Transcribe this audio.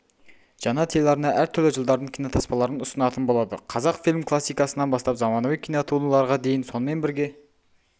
жаңа телеарна әр түрлі жылдардың кинотаспаларын ұсынатын болады қазақфильм классикасынан бастап заманауи кинотуындыларға дейін сонымен бірге